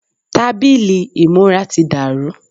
Tábìlì ìmúra ti dàrú.